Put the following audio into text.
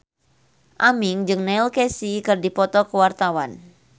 Aming jeung Neil Casey keur dipoto ku wartawan